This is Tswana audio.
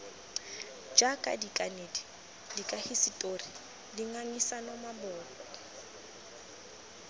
jaaka dikanedi dikahisetori dingangisano maboko